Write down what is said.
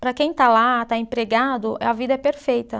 Para quem está lá, está empregado, a vida é perfeita.